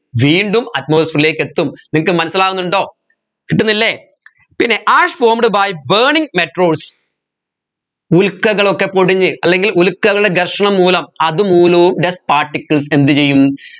വീണ്ടും atmosphere ലേക്ക് എത്തും നിങ്ങക്ക് മനസ്സിലാവുന്നുണ്ടോ കിട്ടുന്നില്ലേ പിന്നെ ash formed by burning meteroids ഉൽകകളൊക്കെ പൊടിഞ്ഞ് അല്ലെങ്കിൽ ഉൽക്കയുടെ ഘർഷണം മൂലം അതുമൂലവും dust particles എന്ത് ചെയ്യും